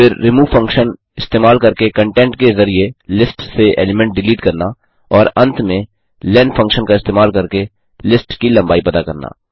फिर remove function इस्तेमाल करके कंटेंट के जरिये लिस्ट से एलीमेंट डिलीट करना और अंत में लेन फंक्शन का इस्तेमाल करके लिस्ट की लम्बाई पता करना